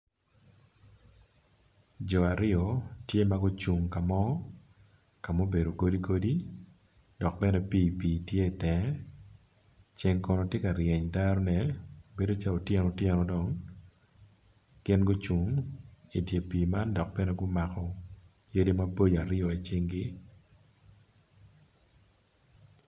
Jo aryo tye ma gucung ka mo ka mubedo godi godi, dok bene pii pii tye itenge ceng kono ti ka ryeny derone bedo calo otyeno otyeno dong gin gucung idi pii man dok bene gumako yadi maboco aryo i cingi.